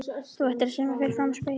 Þú ættir að semja fyrir framan spegil.